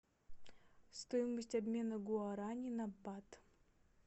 стоимость обмена гуарани на бат